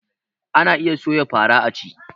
Ana iya soya fara a ci